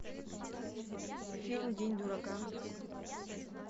фильм день дурака